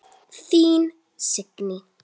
Þín Signý.